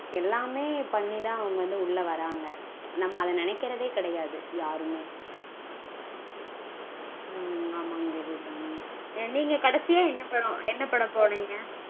எல்லாமே பண்ணிதா வந்து உள்ள வராங்க. நம்ம அத நெனைக்கறதே கெடையாது யாருமே. உம் ஆமாங்க தேவி அபிராமி. நீங்க கடைசியா என்ன படம் என்ன படம் போனீங்க